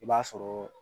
I b'a sɔrɔ